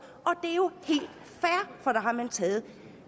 og der har man taget